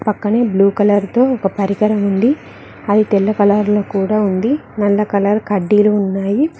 పక్కనే blue colour తో ఒక పరికరం ఉంది అది తెల్ల కలర్ లో కూడా ఉంది నల్ల కలర్ కడ్డీలు ఉన్నాయి.